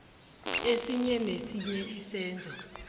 esinye nesinye isenzo